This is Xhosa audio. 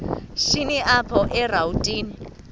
shini apho erawutini